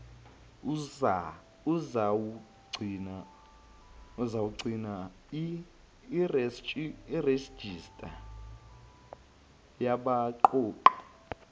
uzawugcina irejista yabaqoqi